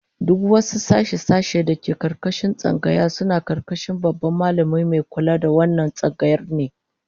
Duk wasu sashe-sashe da ke karkashin tsangaya suna karkashin Babban Mallami Mai kula da wannan tsangayar ne